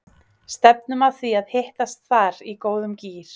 Stefnum að því að hittast þar í góðum gír!